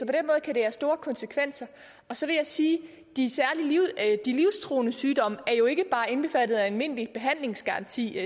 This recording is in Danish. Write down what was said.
kan det have store konsekvenser og så vil jeg sige at de livstruende sygdomme jo ikke bare er indbefattet af almindelig behandlingsgaranti